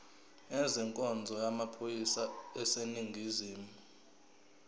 ezenkonzo yamaphoyisa aseningizimu